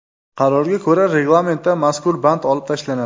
Qarorga ko‘ra, reglamentdan mazkur band olib tashlanadi.